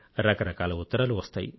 రకరకాల ఉత్తరాలు వస్తాయి